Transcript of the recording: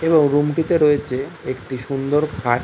এবং রুম টিতে রয়েছে একটি সুন্দর খাট।